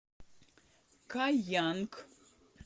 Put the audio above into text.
каянг